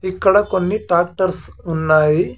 ఇక్కడ కొన్ని ట్రాక్టర్లు ఉన్నాయి.